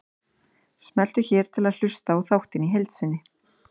Smelltu hér til að hlusta á þáttinn í heild sinni